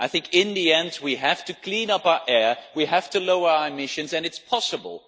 I think, in the end, we have to clean up our air, we have to lower emissions and it is possible.